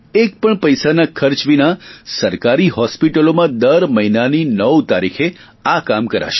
એક પણ પૈસાના ખર્ચ વિના સરકારી હોસ્પિટલોમાં દર મહિનાની નવ તારીખે આ કામ કરાશે